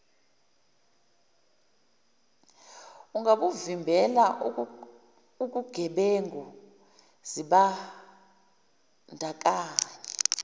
ungabuvimbela ukugebengu zimbandakanye